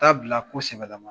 Taa bila ko sɛbɛlama